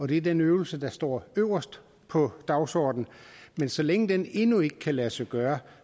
det er den øvelse der står øverst på dagsordenen men så længe den endnu ikke kan lade sig gøre